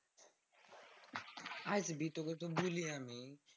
ভাই তুই বললি না তুই।